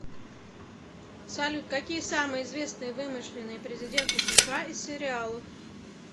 салют какие самые известные вымышленные президенты сша из сериалов